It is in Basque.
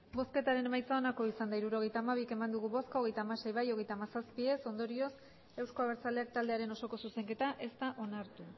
hirurogeita hamabi eman dugu bozka hogeita hamasei bai hogeita hamazazpi ez ondorioz euzko abertzaleak taldearen osoko zuzenketa ez da onartu